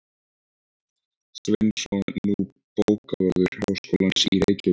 Sveinsson, nú bókavörður háskólans í Reykjavík.